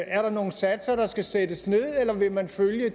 er der nogle satser der skal sættes ned eller vil man følge